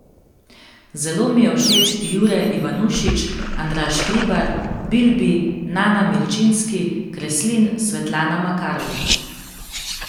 Zelo mi je všeč Jure Ivanušič, Andraž Hribar, Bilbi, Nana Milčinski, Kreslin, Svetlana Makarovič ...